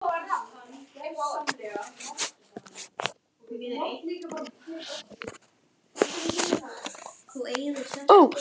Nú, og svo gat hún líka oftast unnið eitthvað með.